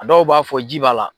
A dɔw b'a fɔ ji b'a la.